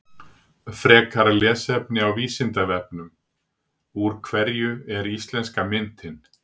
Frekara lesefni á Vísindavefnum: Úr hverju er íslenska myntin?